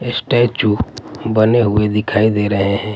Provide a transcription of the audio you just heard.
Statue बने हुए दिखाई दे रहे हैं।